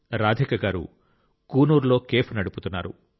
రాధిక గారు కూనూర్లో కేఫ్ నడుపుతున్నారు